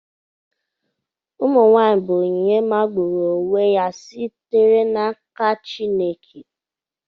Ụmụ nwanyị bụ onyinye magburu onwe ya sitere n'aka Chineke.